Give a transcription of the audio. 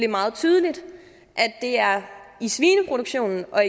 meget tydeligt at det er i svineproduktionen og